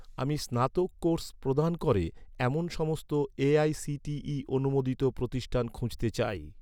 আমি স্নাতক কোর্স প্রদান করে, এমন সমস্ত এ.আই.সি.টি.ই অনুমোদিত প্রতিষ্ঠান খুঁজতে চাই